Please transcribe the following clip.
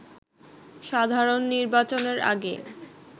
সাধারণ নির্বাচনের আগে